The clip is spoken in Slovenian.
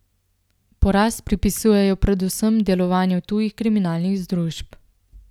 Porast pripisujejo predvsem delovanju tujih kriminalnih združb.